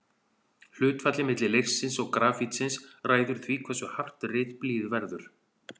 Hlutfallið milli leirsins og grafítsins ræður því hversu hart ritblýið verður.